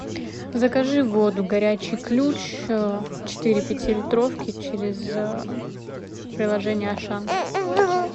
закажи воду горячий ключ четыре пятилитровки через приложение ашан